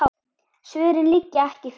Svörin liggja ekki fyrir.